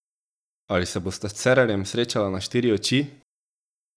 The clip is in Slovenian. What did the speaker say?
Ali se bosta s Cerarjem srečala na štiri oči?